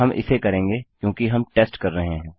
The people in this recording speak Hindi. हम इसे करेंगे क्योंकि हम टेस्ट कर रहे हैं